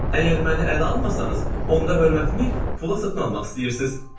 Əgər məni ələ almasanız, onda hörmətimi pula satın almaq istəyirsiz?